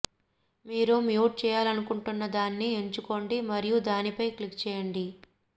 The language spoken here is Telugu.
మీరు మ్యూట్ చేయాలనుకుంటున్న దాన్ని ఎంచుకోండి మరియు దానిపై క్లిక్ చేయండి